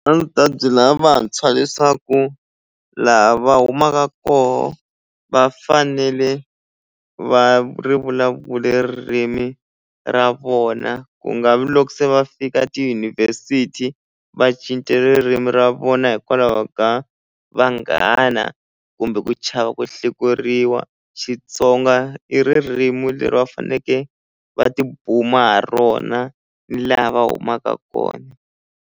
A ndzi ta byela vantshwa leswaku laha va humaka koho va fanele va ri vulavule ririmi ra vona ku nga vi loko se va fika tiyunivhesiti va cinci ririmi ra vona hikwalaho ka vanghana kumbe ku chava ku hlekuriwa Xitsonga i ririmi leri va faneleke va tibuma ha rona ni laha va humaka kona.